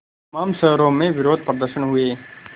तमाम शहरों में विरोधप्रदर्शन हुए